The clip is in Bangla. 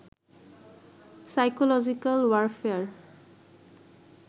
'psychological warfare